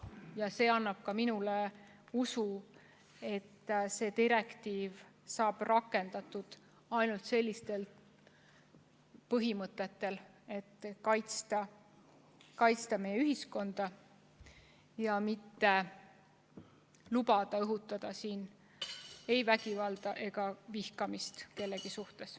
Ja see annab ka minule usu, et seda direktiivi rakendatakse ainult sellistel põhimõtetel, et kaitsta meie ühiskonda ja mitte lubada õhutada siin vägivalda või vihkamist kellegi vastu.